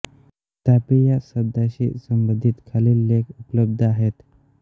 तापी या शब्दाशी संबंधित खालील लेख उपलब्ध आहेत